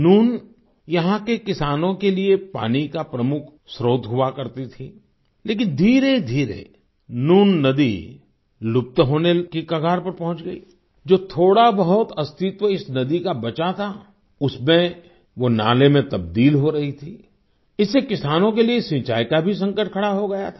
नून यहाँ के किसानों के लिए पानी का प्रमुख स्त्रोत हुआ करती थी लेकिन धीरेधीरे नून नदी लुप्त होने की कगार पर पहुँच गई जो थोड़ा बहुत अस्तित्व इस नदी का बचा था उसमें वो नाले में तब्दील हो रही थी इससे किसानों के लिए सिंचाई का भी संकट खड़ा हो गया था